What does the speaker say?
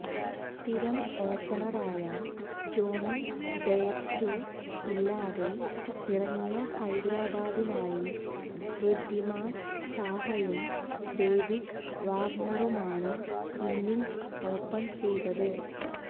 സ്ഥിരം ഓപ്പണറായ Jonny Bairstow ഇല്ലാതെ ഇറങ്ങിയ ഹൈദരാബാദിനായി വൃദ്ധിമാന് സാഹയും ഡേവിഡ് വാര്ണറുമാണ് ഇന്നിംഗ്സ് ഓപ്പണ് ചെയ്തത്